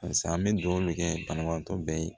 Barisa an bɛ dugawu kɛ banabaatɔ bɛɛ ye